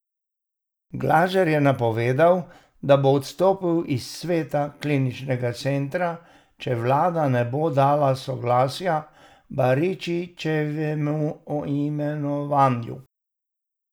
Glažar je napovedal, da bo odstopil iz sveta kliničnega centra, če vlada ne bo dala soglasja k Baričičevemu imenovanju.